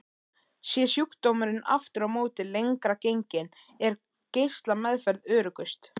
Sé sjúkdómurinn aftur á móti lengra genginn er geislameðferð öruggust.